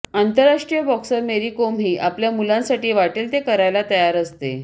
आंतरराष्ट्रीय बॉक्सर मेरी कोमही आपल्या मुलांसाठी वाटेल ते करायला तयार असते